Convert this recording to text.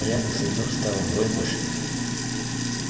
грязных следов стало вдвое больше